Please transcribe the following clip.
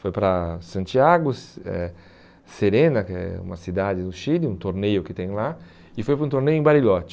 Foi para Santiago, Se eh Serena, que é uma cidade do Chile, um torneio que tem lá, e foi para um torneio em Bariloche.